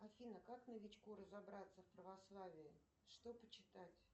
афина как новичку разобраться в православии что почитать